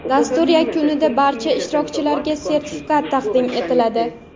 Dastur yakunida barcha ishtirokchilarga sertifikat taqdim etiladi.